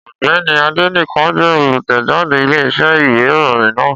Ọ̀gbẹ́ni Adénẹ́kàn jẹ́ olùtẹ̀jáde Iléeṣẹ́ ìwé ìròyìn náà